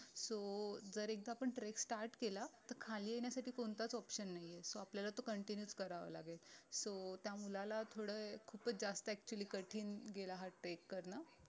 so जर एकदा आपण trek start केला तर खाली येण्यासाठी कोणताच option नाहीये so आपल्याला तो continues करावा लागेल so त्या मुलाला थोडं खूपच जास्त actually कठीण गेला हा trek कारण